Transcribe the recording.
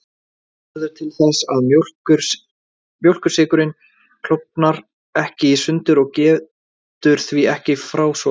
Það verður til þess að mjólkursykurinn klofnar ekki í sundur og getur því ekki frásogast.